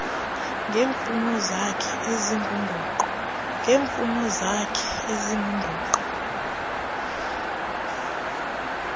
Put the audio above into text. ngeemfuno zakhe ezingundoqo